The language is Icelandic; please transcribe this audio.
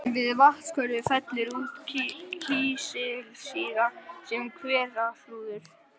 Við vatnshveri fellur út kísilsýra sem hverahrúður.